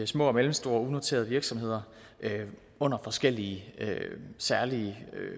små og mellemstore unoterede virksomheder under forskellige særlige